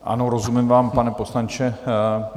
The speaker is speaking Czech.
Ano, rozumím vám, pane poslanče.